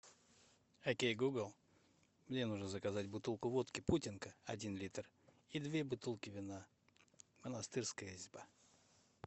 окей гугл мне нужно заказать бутылку водки путинка один литр и две бутылки вина монастырская изба